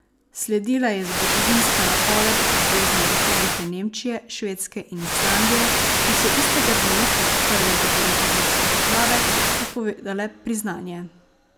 Sledila je zgodovinska napoved Zvezne republike Nemčije, Švedske in Islandije, ki so istega dne, kot prve zahodnoevropske države, napovedale priznanje.